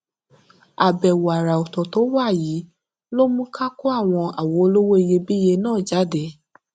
àbèwò àrà òtò tó wá yìí ló mú ká kó àwọn àwo olówó iyebíye náà jáde